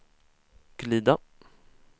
glida